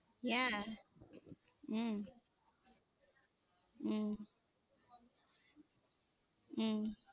ஏன் உம் உம் உம்